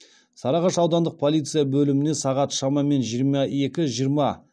сарыағаш аудандық полиция бөліміне сағат шамамен жиырма екі жиырма